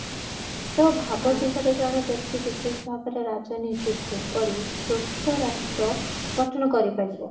ତା ଭାବ ଚିନ୍ତା ରେ ଜଣେ ବ୍ୟକ୍ତି ବିଶେଷ ଭାବରେ ରାଜନୀତି କୁ କରି ସୁସ୍ତ ରାଷ୍ଟ୍ର ଗଠନ କରିପାରିବ